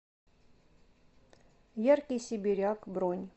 яркий сибиряк бронь